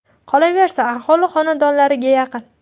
Qolaversa, aholi xonadonlariga yaqin.